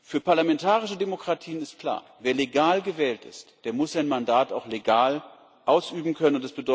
Für parlamentarische Demokratien ist klar Wer legal gewählt ist, der muss sein Mandat auch legal ausüben können.